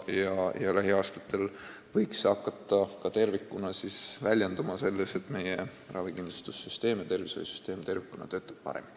Lähiaastatel võiks see hakata väljenduma ka selles, et meie ravikindlustussüsteem ja tervishoiusüsteem tervikuna töötavad paremini.